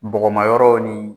Bɔgɔmayɔrɔw ni